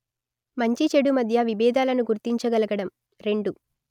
మంచి చెడు మధ్య విబేధాలను గుర్తించగలగడం; రెండు